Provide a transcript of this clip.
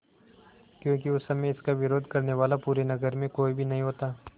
क्योंकि उस समय इसका विरोध करने वाला पूरे नगर में कोई भी नहीं होता